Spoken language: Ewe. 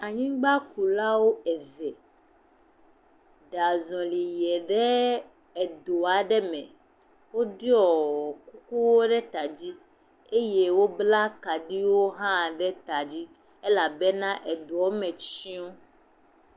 Anyigbakula eve, ɖe azɔli yiɛ ɖe edo aɖe me. Woɖiɔɔ kukuwo ɖe ta dzi. Eye woblaa kaɖiwo hã ɖe ta dzi elabena edoɔ me tsyɔ̃.